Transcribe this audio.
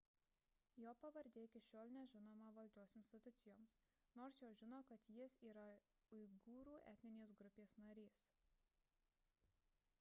jo pavardė iki šiol nežinoma valdžios institucijoms nors jos žino kad jis yra uigūrų etninės grupės narys